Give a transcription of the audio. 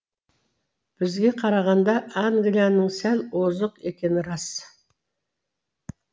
бізге қарағанда англияның сәл озық екені рас